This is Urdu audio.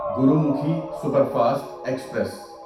Gurmukhi superfast express